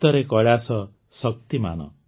ଉତରେ Kailash Shaktimaan